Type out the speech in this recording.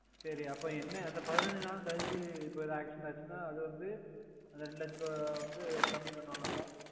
சரி அப்போ என்ன அந்த பதினஞ்சு நாள் கலுச்சு இப்போ Accident ஆச்சுன அது வந்து அந்த ரேண்டு லட்ச ரூபா வந்து கம்மி பண்ணுவாங்கள